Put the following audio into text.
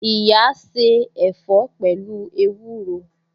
Iya se ẹ̀fọ́ pẹ̀lú ewúro